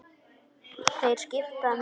Þeir skipta mig engu.